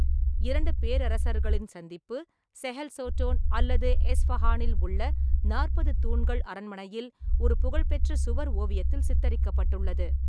இரண்டு பேரரசர்களின் சந்திப்பு செஹெல் சோட்டோன் அல்லது எஸ்பஹானில் உள்ள நாற்பது தூண்கள் அரண்மனையில் ஒரு புகழ்பெற்ற சுவர் ஓவியத்தில் சித்தரிக்கப்பட்டுள்ளது.